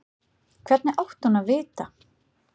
Hvernig átti hún að vita-?